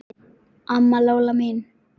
Amma Lóa mín.